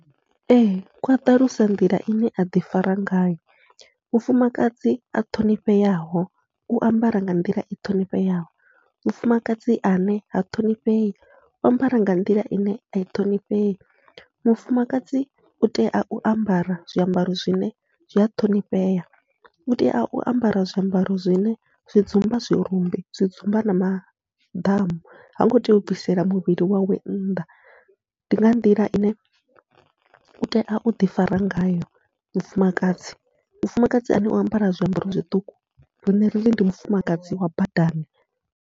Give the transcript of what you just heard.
Ee kwaṱalusa nḓila ine aḓi fara ngayo, mufumakadzi a ṱhonifheaho u ambara nga nḓila i ṱhonifheaho, mufumakadzi ane ha ṱhonifhei u ambara nga nḓila ine ai ṱhonifhei mufumakadzi utea u ambara zwiambaro zwine zwi a ṱhonifhea, utea u ambara zwiambaro zwine zwi dzumba zwirumbi zwi dzumba na maḓamu, hango tea u bvisela muvhili wawe nnḓa ndi nga nḓila ine utea uḓi fara ngayo mufumakadzi, mufumakadzi ane o ambara zwiambaro zwiṱuku riṋe riri ndi mufumakadzi wa badani.